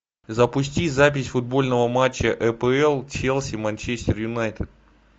запусти запись футбольного матча апл челси манчестер юнайтед